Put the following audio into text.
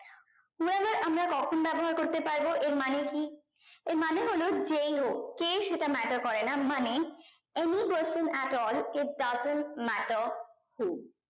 when ever আমরা কখন ব্যাবহার করতে পারবো এর মানে কি এর মানে হলো যেই হোক কে সেটা matter করে না মানে any person at all if doesn't matter who